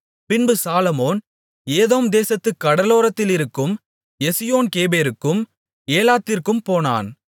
பின்பு Solomon Edom தேசத்துக் கடலோரத்திலிருக்கும் எசியோன் கேபேருக்கும் ஏலாத்திற்கும் போனான்